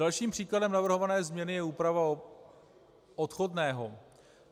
Dalším příkladem navrhované změny je úprava odchodného.